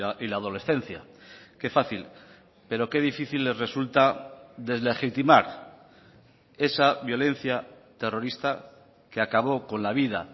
y la adolescencia qué fácil pero qué difícil les resulta deslegitimar esa violencia terrorista que acabó con la vida